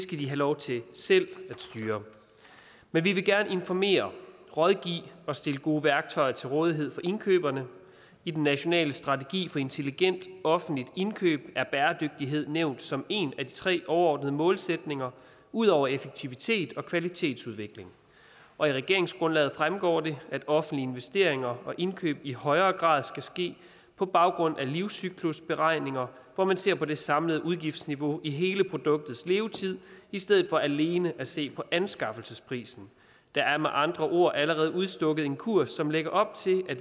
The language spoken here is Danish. de have lov til selv at styre men vi vil gerne informere rådgive og stille gode værktøjer til rådighed for indkøberne i den nationale strategi for intelligent offentligt indkøb er bæredygtighed nævnt som en af de tre overordnede målsætninger ud over effektivitet og kvalitetsudvikling og i regeringsgrundlaget fremgår det at offentlige investeringer og indkøb i højere grad skal ske på baggrund af livscyklusberegninger hvor man ser på det samlede udgiftsniveau i hele produktets levetid i stedet for alene at se på anskaffelsesprisen der er med andre ord allerede udstukket en kurs som lægger op til at